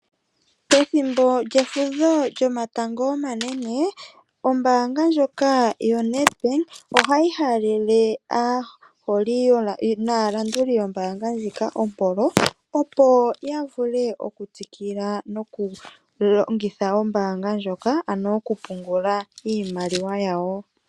Ethimbo lyefudho lyomatango , ombanga ndjoka yoNedbank ohayi halele aaholi naa landuli yombanga ndjika ompolo opo ya vule oku tsikile noku longitha ombanga ndjoka. Ano oku pungula iimaliwa yawo.